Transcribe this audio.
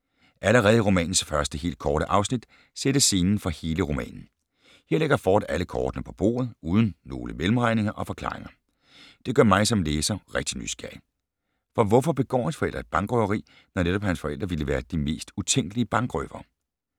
Allerede i romanens første helt korte afsnit sættes scenen for hele romanen. Her lægger Ford alle kortene på bordet, uden nogle mellemregninger og forklaringer. Det gør mig, som læser, rigtig nysgerrig. For hvorfor begår hans forældre et bankrøveri, når netop hans forældre ville være de mest utænkelige bankrøvere?